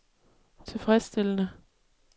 tilfredsstillende